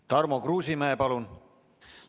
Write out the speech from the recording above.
Tarmo Kruusimäe, palun!